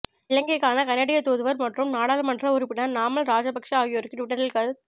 இலங்கைக்கான கனேடிய தூதுவர் மற்றும் நாடாளுமன்ற உறுப்பினர் நாமல் ராஜபக்ஷ ஆகியோருக்கு டுவிட்டரில் கருத்